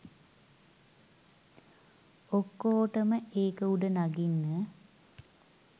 ඔක්කෝටම ඒක උඩ නඟින්න